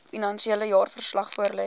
finansiële jaarverslag voorlê